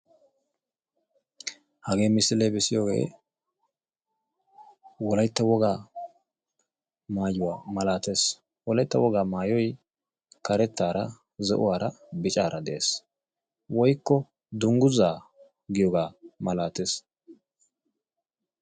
Hagee missile bessiyoge wolaytta wogaa maayuwa malaates; wolaytta wogaa maayoy karettaara, zo"uwaara, biccaara de'ees; woykko dungguza giyoogaa malaates.